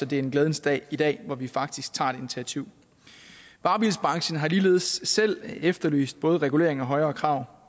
det er en glædens dag i dag hvor vi faktisk tager et initiativ varebilsbranchen har ligeledes selv efterlyst både regulering og højere krav